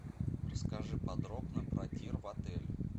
расскажи подробно про тир в отеле